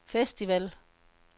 festival